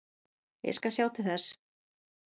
Ég skal sjá til þess.